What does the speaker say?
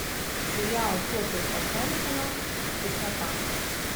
сериал кертса хенсона теснота